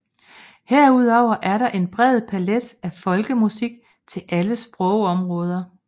Herudover er der en bred palet af folkemusik i alle sprogområder